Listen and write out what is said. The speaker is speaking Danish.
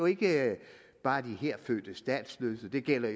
ikke bare de her fødte statsløse det gælder